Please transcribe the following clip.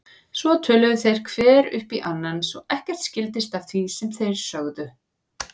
Svo töluðu þeir hver upp í annan svo ekkert skildist af því sem þeir sögðu.